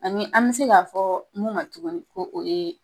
Ani an me sek'a fɔ mun ka jugu ko o ye